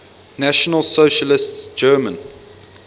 national socialist german